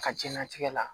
A ka jɛnatigɛ la